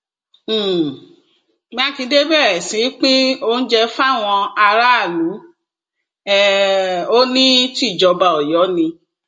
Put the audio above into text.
um mákindé bẹrẹ sí í pín oúnjẹ fáwọn aráàlú um ó ní tìjọba ọyọ ni